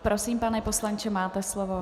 Prosím, pane poslanče, máte slovo.